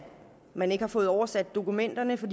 man ikke har fået oversat dokumenterne for